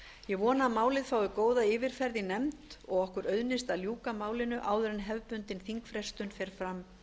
ég vona að málið fái góða yfirferð í nefnd og að okkur auðnist að ljúka málinu áður en hefðbundin þingfrestun fer fram